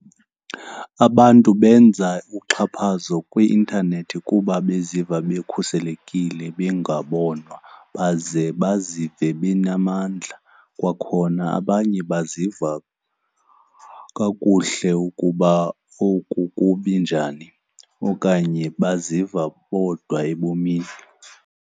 Abantu benza uxhaphazo kwi-intanethi kuba beziva bekhuselekile bengabonwa baze bazive bengenamandla. Kwakhona abanye baziva kakuhle ukuba oku kubi njani okanye baziva bodwa ebomini.